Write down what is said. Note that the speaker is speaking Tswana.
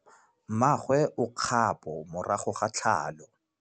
Mmagwe o kgapô morago ga tlhalô.